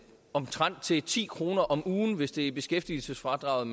omtrent til ti kroner om ugen hvis det er beskæftigelsesfradraget